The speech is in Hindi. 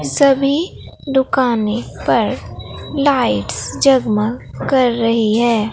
सभी दुकानें पर लाइट्स जगमग कर रही है।